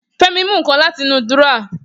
Femi mú nǹkan láti inú dúrọ́à